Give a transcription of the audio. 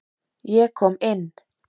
Ég kom inn.